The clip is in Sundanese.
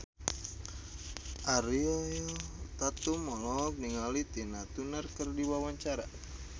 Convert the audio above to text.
Ariel Tatum olohok ningali Tina Turner keur diwawancara